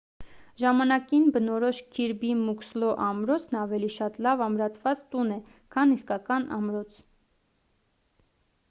ժամանակին բնորոշ քիրբի մուքսլո ամրոցն ավելի շատ լավ ամրացված տուն է քան իսկական ամրոց